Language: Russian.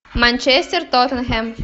манчестер тоттенхэм